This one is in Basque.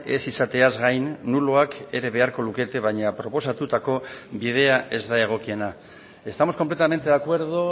ez izateaz gain nuloak ere beharko lukete baina proposatutako bidea ez da egokiena estamos completamente de acuerdo